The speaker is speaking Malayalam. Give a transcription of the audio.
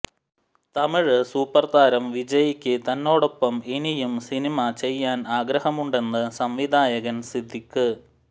തമിഴ് സൂപ്പർ താരം വിജയ്ക്ക് തന്നോടൊപ്പം ഇനിയും സിനിമ ചെയ്യാൻ ആഗ്രഹമുണ്ടെന്ന് സംവിധായകൻ സിദ്ദിഖ്